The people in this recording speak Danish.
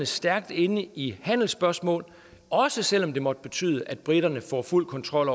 stærkt inde i handelsspørgsmål også selv om det måtte betyde at briterne får fuld kontrol